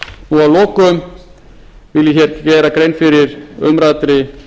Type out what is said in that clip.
og að lokum vil ég hér gera grein fyrir umræddri